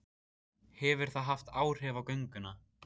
Hefur það haft áhrif á gönguna?